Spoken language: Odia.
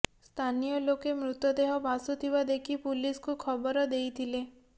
ସ୍ଥାନୀୟ ଲୋକେ ମୃତଦେହ ଭାସୁଥିବା ଦେଖି ପୁଲିସକୁ ଖବର ଦେଇଥିଲେ